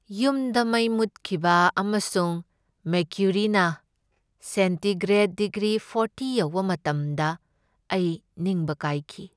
ꯌꯨꯝꯗ ꯃꯩ ꯃꯨꯠꯈꯤꯕ ꯑꯃꯁꯨꯡ ꯃꯦꯀ꯭ꯌꯨꯔꯤꯅ ꯁꯦꯟꯇꯤꯒ꯭ꯔꯦꯗ ꯗꯤꯒ꯭ꯔꯤ ꯐꯣꯔꯇꯤ ꯌꯧꯕ ꯃꯇꯝꯗ ꯑꯩ ꯅꯤꯡꯕ ꯀꯥꯏꯈꯤ꯫